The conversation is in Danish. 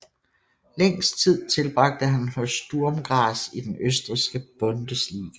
Længst tid tilbragte han hos Sturm Graz i den østrigske Bundesliga